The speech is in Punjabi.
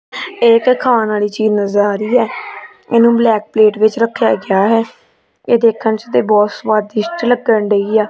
ਇਕ ਖਾਣ ਵਾਲੀ ਚੀਜ਼ ਨਜ਼ਰ ਆ ਰਹੀ ਹੈ ਏਨੂੰ ਬਲੈਕ ਪਲੇਟ ਵਿੱਚ ਰੱਖਿਆ ਗਿਆ ਹੈ ਇਹ ਦੇਖਣ ਚ ਤੇ ਬਹੁਤ ਸਵਾਦਿਸ਼ਟ ਲੱਗਣ ਡਈ ਆ।